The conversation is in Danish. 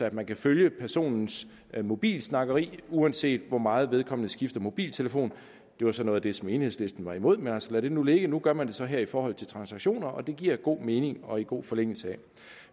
at man kan følge personens mobilsnakkeri uanset hvor meget vedkommende skifter mobiltelefon det var så noget af det som enhedslisten var imod men altså lad det nu ligge nu gør man det så her i forhold til transaktioner og det giver god mening og ligger i god forlængelse af